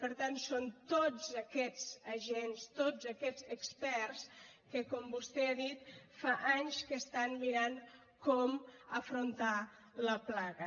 per tant són tots aquests agents tots aquests experts que com vostè ha dit fa anys que estan mirant com afrontar la plaga